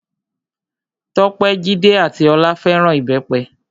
Tope, Jídé ati Olá fẹ́ràn Ìbẹ́pẹ.